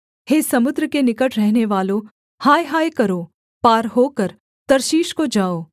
हे समुद्र के निकट रहनेवालों हाय हाय करो पार होकर तर्शीश को जाओ